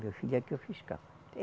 Meu filho aqui é o fiscal.